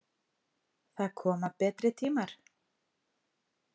Það koma betri tímar.